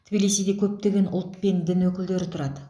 тбилисиде көптеген ұлт пен дін өкілдері тұрады